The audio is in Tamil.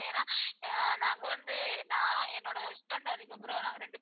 உக்கார்ந்து அதுக்கப்புறம்.